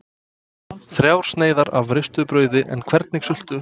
Þrjár sneiðar af ristuðu brauði en hvernig sultu?